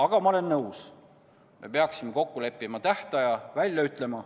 Aga ma olen nõus, et me peaksime kokku leppima tähtaja ja selle välja ütlema.